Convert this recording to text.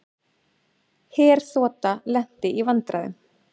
Herþota lenti í vandræðum